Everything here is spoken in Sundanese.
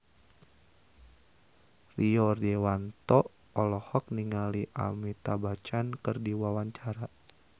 Rio Dewanto olohok ningali Amitabh Bachchan keur diwawancara